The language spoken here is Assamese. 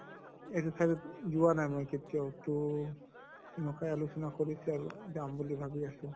এইটো side ত যোৱা নাই মই কেতিয়াও, তʼ এনকাই আলোচনা কৰিছে আৰু যাম বুলি ভাবি আছো।